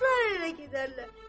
Qızlar ərə gedərlər.